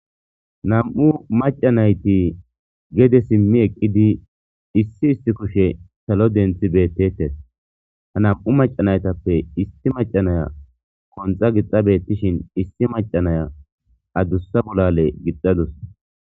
Nam'u maca nayti gede simi eqidi issi issi kushe salo denthi beetetes ha nam'u maca naytappe issi maca Naya qonxa gixa beetishin issi Naya maca Naya addusa bolale gixadus.